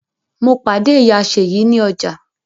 Mo pàdé ìyá Ṣeyi ní ọjà